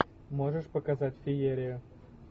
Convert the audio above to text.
можешь показать феерию